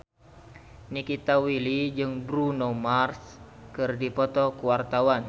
Nikita Willy jeung Bruno Mars keur dipoto ku wartawan